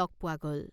লগ পোৱা গল।